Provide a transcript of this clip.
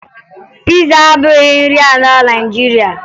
Piza abụghị nri ala Naịjirịa